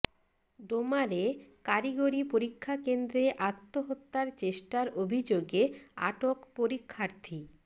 ডোমারে কারিগরি পরীক্ষা কেন্দ্রে আত্মহত্যার চেষ্টার অভিযোগে আটক পরীক্ষার্থী